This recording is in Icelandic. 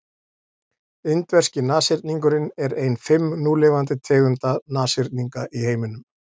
indverski nashyrningurinn er ein fimm núlifandi tegunda nashyrninga í heiminum